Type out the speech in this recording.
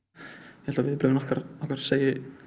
ég held að viðbrögðin okkar segi